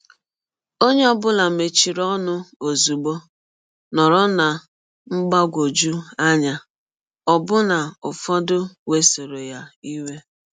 Onye ọ bụla mechiri ọnụ ọzụgbọ, nọrọ ná mgbagwọjụ anya, ọbụna ụfọdụ wesọrọ ya iwe.